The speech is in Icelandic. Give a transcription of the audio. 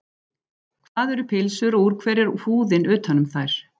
Hvað eru pylsur og úr hverju er húðin utan um þær?